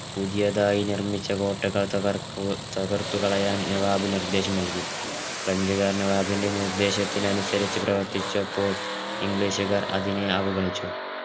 പുതിയതായി നിർമിച്ച കോട്ടകൾ തറക്കു തകർത്തുകളയാൻ നവാബ് നിർദ്ദേശം നൽകി ഫ്രഞ്ച് കാർ നവാബിന്റെ നിർദ്ദേശത്തിനനുസരിച് പ്രവർത്തിച്ചപ്പോൾ english കാർ അതിനെ അവഗണിച്ചു